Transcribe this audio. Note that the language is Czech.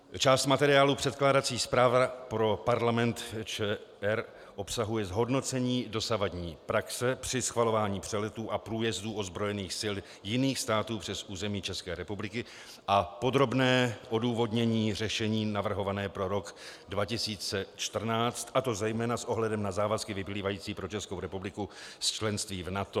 Část materiálu, předkládací zpráva pro Parlament ČR, obsahuje zhodnocení dosavadní praxe při schvalování přeletů a průjezdů ozbrojených sil jiných států přes území České republiky a podrobné odůvodnění řešení navrhované pro rok 2014, a to zejména s ohledem na závazky vyplývající pro Českou republiku z členství v NATO.